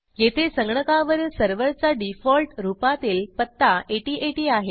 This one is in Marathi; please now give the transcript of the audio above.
येथे संगणकावरील सर्व्हरचा डिफॉल्ट रूपातील पत्ता 8080 आहे